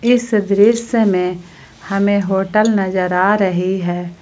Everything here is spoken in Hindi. इस दृश्य मे हमें होटल नजर आ रही है।